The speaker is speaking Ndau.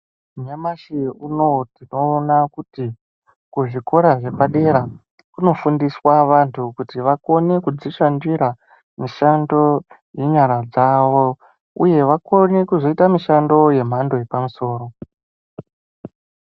Nyamashi unowu tinoona kuti kuzvikora zvepadera kunofundiswa vantu kuti vakone kudzishandira mishando yenyara dzavo, uye vakone kuzoite mishando yemhando yepamusoro.